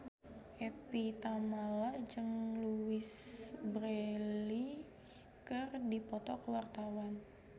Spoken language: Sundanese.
Evie Tamala jeung Louise Brealey keur dipoto ku wartawan